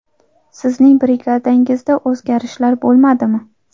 Sizning brigadangizda o‘zgarishlar bo‘lmadimi?